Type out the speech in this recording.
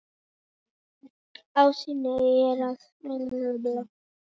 Ástæðan er að það valdi honum of miklu álagi.